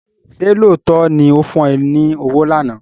Ṣé lóòótọ́ ni ó fún ẹ ní owó lánàá?